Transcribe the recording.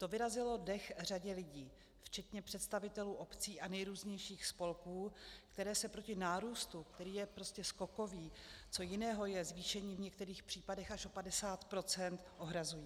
To vyrazilo dech řadě lidí, včetně představitelů obcí a nejrůznějších spolků, které se proti nárůstu, který je prostě skokový - co jiného je zvýšení v některých případech až o 50 %?-, ohrazují.